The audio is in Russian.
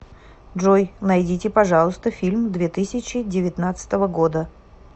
джой найдите пожалуйста фильм две тысячи девятнадцатого года